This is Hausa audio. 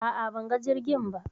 a'a banga jirgin ba